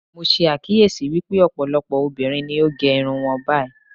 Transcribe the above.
Mo ṣe àkíyèsí wípé ọ̀pọ̀lọpọ̀ obìnrin ni ó gẹ irun wọn báyìí.